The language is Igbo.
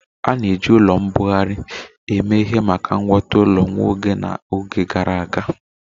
A na-eji ụlọ mbuhari eme ihe maka ngwọta ụlọ nwa oge na oge gara aga